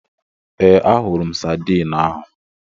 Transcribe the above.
Ee, ahụrụ m sadiin ahu.